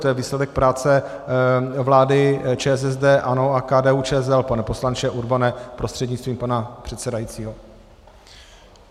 To je výsledek práce vlády ČSSD, ANO a KDU-ČSL, pane poslanče Urbane prostřednictvím pana předsedajícího.